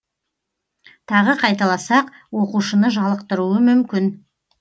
тағы қайталасақ оқушыны жалықтыруы мүмкін